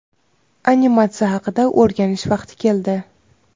animatsiya haqida o‘rganish vaqti keldi.